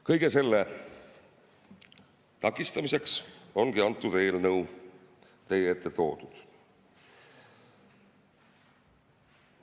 Kõige selle takistamiseks ongi see eelnõu teie ette toodud.